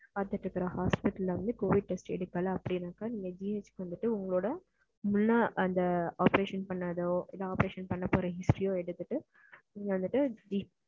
பாத்துட்டு இருக்குற hospital ல வந்துட்டு covid test எடுக்கல அப்படின்னா நீங்க முன்னால பண்ண அந்த operation report எடுத்துட்டு நீங்க வந்துட்டு.